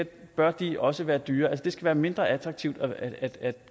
bør de også være dyrere det skal være mindre attraktivt at